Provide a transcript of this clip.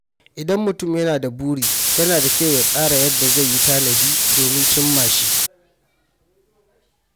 Idan mutum yana da buri, yana da kyau ya tsara yadda zai yi tanadi domin cimma shi.